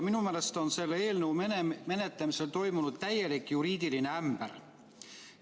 Minu meelest on selle eelnõu menetlemisel toimunud täielik juriidiline ämber.